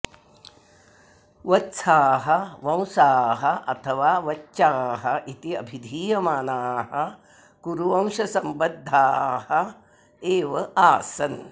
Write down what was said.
वत्साः वंसाः अथवा वच्चाः इति अभिधीयमानाः कुरुवंशसम्बद्धाः एव आसन्